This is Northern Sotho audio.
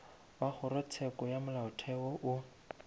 wa kgorotsheko ya molaotheo o